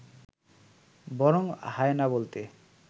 বরং হায়েনা বলতে